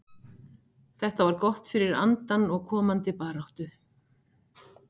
Þetta var gott fyrir andann og komandi baráttu.